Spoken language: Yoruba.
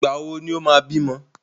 Ìgbà wò ni o máa bímọ?